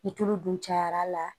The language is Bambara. Ni tulu dun cayar'a la